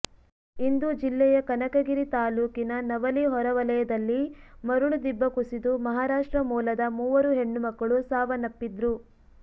ಇಂದು ಜಿಲ್ಲೆಯ ಕನಕಗಿರಿ ತಾಲೂಕಿನ ನವಲಿ ಹೊರವಲಯದಲ್ಲಿ ಮರಳು ದಿಬ್ಬ ಕುಸಿದು ಮಹಾರಾಷ್ಟ್ರ ಮೂಲದ ಮೂವರು ಹೆಣ್ಣು ಮಕ್ಕಳು ಸಾವನ್ನಪ್ಪಿದ್ರು